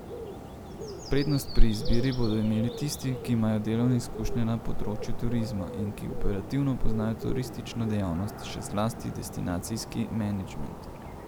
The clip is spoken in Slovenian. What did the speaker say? Prednost pri izbiri bodo imeli tisti, ki imajo delovne izkušnje na področju turizma in ki operativno poznajo turistično dejavnost, še zlasti destinacijski menedžment.